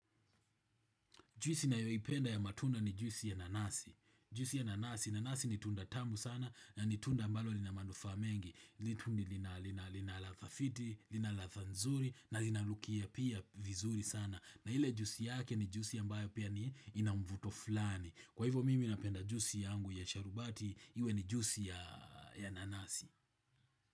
Juisi nayo ipenda ya matunda ni juisi ya nanasi. Juisi ya nanasi. Nanasi ni tunda tamu sana. Ni tunda ambalo lina manufaa mengi. Lituni lina radha fiti. Lina radha nzuri. Na linanukia pia vizuri sana. Na ile juisi yake ni juisi ambayo pia ni ina mvuto fulani. Kwa hivyo mimi napenda juisi yangu ya sharubati. Iwe ni juisi ya nanasi.